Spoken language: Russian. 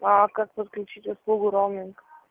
а как подключить услугу роуминг